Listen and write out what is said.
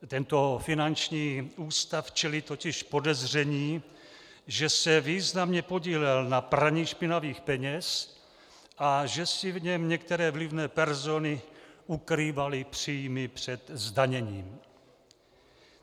Tento finanční ústav čelí totiž podezření, že se významně podílel na praní špinavých peněz a že si v něm některé vlivné persony ukrývaly příjmy před zdaněním.